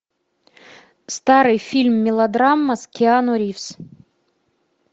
старый фильм мелодрама с киану ривз